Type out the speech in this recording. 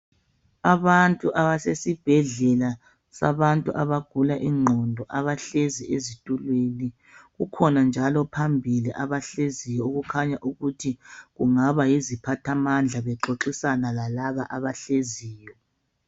Abantu abasesibhedlela sabantu abagula ingqondo abahlezi ezitulweni. Kukhona njalo phambili abahleziyo okukhanya ukuthi kungaba yiziphathamandla bexoxisana lalaba abahleziyo.